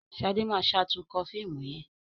Shade ma ṣatunkọ fíìmù yén.